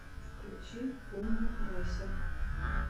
включи помню райса